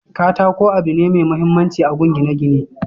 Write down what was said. katako abu ne mai mahimmanci agun gine gine